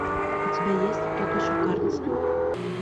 у тебя есть тот еще карлсон